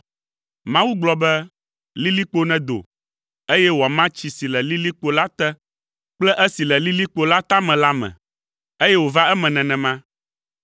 Mawu gblɔ be, “Lilikpo nedo, eye wòama tsi si le lilikpo la te kple esi le lilikpo la tame la me. Eye wòva eme nenema.”